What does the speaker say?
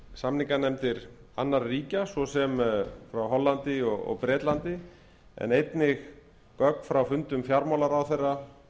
samninganefndir annarra ríkja svo sem frá hollandi og bretlandi en einnig gögn frá fundum fjármálaráðherra